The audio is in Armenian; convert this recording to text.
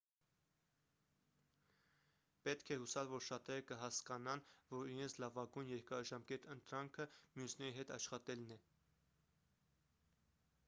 պետք է հուսալ որ շատերը կհասկանան որ իրենց լավագույն երկարաժամկետ ընտրանքը մյուսների հետ աշխատելն է